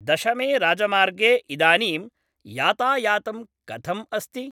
दशमे राजमार्गे इदानीं यातायातं कथम् अस्ति?